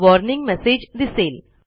warning message दिसेल